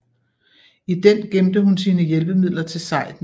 I den gemte hun sine hjælpemidler til sejden